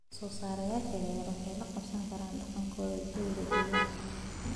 Soosaarayaasha yaryar waxay la qabsan karaan dhaqankooda jawiga deegaanka.